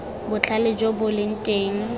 botlhale jo bo leng teng